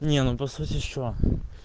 не ну просто вот ещё